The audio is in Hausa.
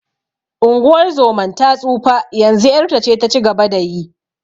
Unguwar zoman ta tsufa, yanzu ƴarta ce ta ci gaba da yi.